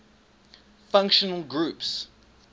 functional groups